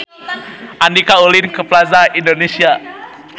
Andika ulin ka Plaza Indonesia